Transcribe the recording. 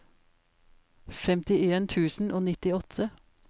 femtien tusen og nittiåtte